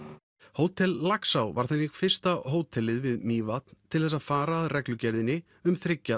hótel Laxá var þannig fyrsta hótelið við Mývatn til þess að fara að reglugerðinni um þriggja